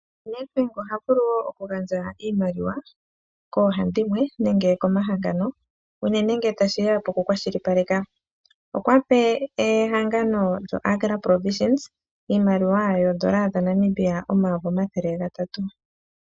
Netbank oha vulu wo oku gandja iimaliwa koohandimwe nenge komahangano uunene ngele tashiya kokukwashilipaleka. Okwape wo ehangano lyo Agra Provision iimaliwa oondola dhaNamibia omayovi omathele gatatu.